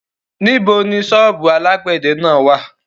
Níbo ni ṣọ́ọ́bù alágbẹ̀dẹ náà wà?